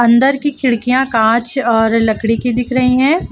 अंदर की खिड़कियां कांच और लकड़ी की दिख रही है।